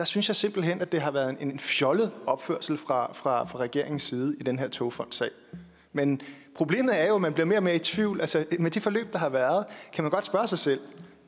synes jeg simpelt hen at det har været en fjollet opførsel fra fra regeringens side i den her togfondsag men problemet er jo at man bliver mere og mere i tvivl altså med de forløb der har været kan man godt spørge sig selv